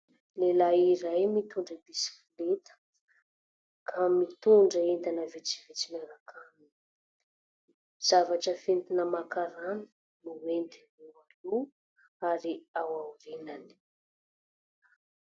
Lehilay iray mitondra bisikileta ka mitondra entana vitsivitsy miaraka aminy, zavatra foentina maka rano no entiny ao aloha ary ao aorinany.